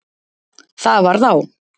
Það varð á.